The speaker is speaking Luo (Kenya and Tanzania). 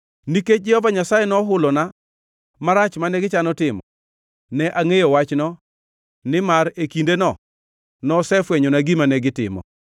Nikech Jehova Nyasaye nohulona marach mane gichano timo, ne angʼeyo wachno, nimar e kindeno nosefwenyona gima negitimo.